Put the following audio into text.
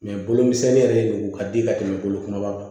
bolomisɛnnin yɛrɛ de kun ka di ka tɛmɛ bolo kumaba kan